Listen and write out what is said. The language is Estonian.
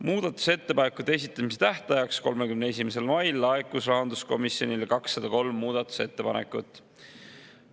Muudatusettepanekute esitamise tähtajaks 31. mail laekus rahanduskomisjonile 203 muudatusettepanekut.